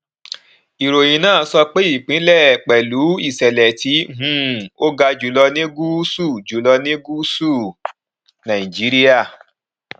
ìròyìn náà sọ pé ìpínlẹ pẹlú ìṣẹlẹ tí um ó ga jùlọ ní gúúsù jùlọ ní gúúsù nàìjíríà